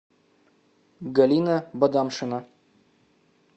галина бадамшина